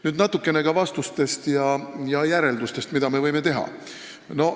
Nüüd natukene ka vastustest ja järeldustest, mida me võime teha.